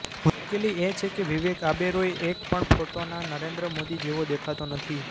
મુશ્કેલી એ છે કે વિવેક ઓબેરોય એક પણ ફોટોમાં નરેન્દ્ર મોદી જેવો દેખાતો નથી